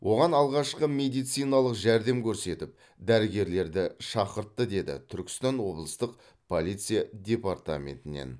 оған алғашқы медициналық жәрдем көрсетіп дәрігерлерді шақыртты деді түркістан облыстық полиция департаментінен